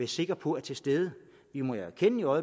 sikre på er til stede vi må jo erkende når